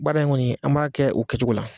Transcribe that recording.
Baara in kɔni an b'a kɛ' o kɛcogo la